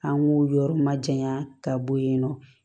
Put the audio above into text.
An k'o yɔrɔ ma janya ka bɔ yen nɔ